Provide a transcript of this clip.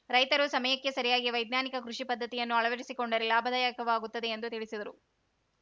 ರೈತರು ಸಮಯಕ್ಕೆ ಸರಿಯಾಗಿ ವೈಜ್ಞಾನಿಕ ಕೃಷಿ ಪದ್ಧತಿಯನ್ನು ಅಳವಡಿಸಿಕೊಂಡರೆ ಲಾಭದಾಯಕವಾಗುತ್ತದೆ ಎಂದು ತಿಳಿಸಿದರು